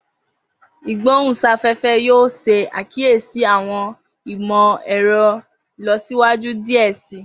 Igbohunsafẹfẹ yoo ṣe akiyesi awọn imọ-ẹrọ ilọsiwaju diẹ sii.